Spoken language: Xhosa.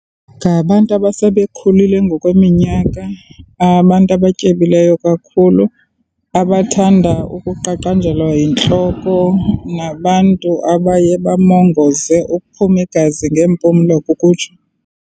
Ngabantu abasebekhulile ngokweminyaka, abantu abatyebileyo kakhulu, abathanda ukuqaqanjelwa yintloko. nabantu abaye bamongoze, ukuphuma igazi ngeempumlo ukutsho.